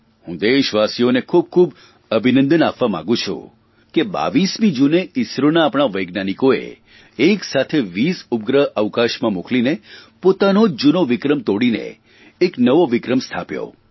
હું દેશવાસીઓને પણ ખૂબખૂબ અભિનંદન આપવા માંગું છું કે 22મી જૂને ઇસરો આપણા વૈજ્ઞાનિકોને એક સાથે 22 ઉપગ્રહ આકાશમાં મોકલીને પોતાનો જૂનો વિક્રમ તોડીને એક નવો વિક્રમ સ્થાપ્યો